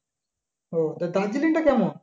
ও তো দার্জিলিংটা কেমন?